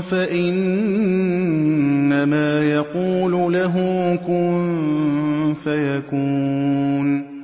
فَإِنَّمَا يَقُولُ لَهُ كُن فَيَكُونُ